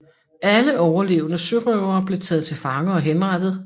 Alle overlevende sørøvere blev taget til fange og henrettet